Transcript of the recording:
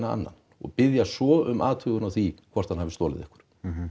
annan og biðja svo um athugun á því hvort hann hafi stolið einhverju